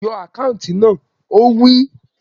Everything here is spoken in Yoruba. Yọ àkáùntì náà! Ó wí